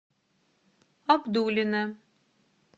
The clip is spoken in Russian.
абдулино